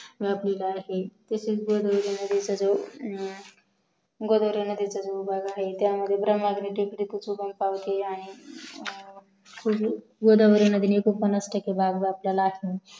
व्यापलेला आहे तसेच येणारे सर्व गोदावरी नदीचा जो उगम आहे तो टेकडी पासून उगम पावते गोदावरी नदीने एक्कोंपन्नास भाग व्यापलेला आहे